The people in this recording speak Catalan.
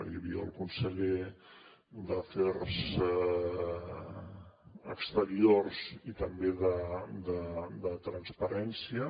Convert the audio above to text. hi havia el conseller d’afers exteriors i també de transparència